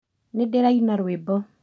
Nĩndĩraina rwĩmbo